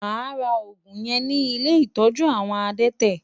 Máa ra òògùn yẹn ní ilé ìtọ́jú àwọn adẹ́tẹ̀.